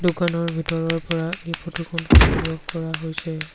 দোকানৰ ভিতৰৰ পৰা এই ফটো খন সংগ্ৰহ কৰা হৈছে।